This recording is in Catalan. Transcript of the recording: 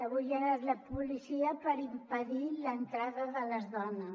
avui hi ha anat la policia per impedir l’entrada de les dones